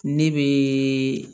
Ne bɛ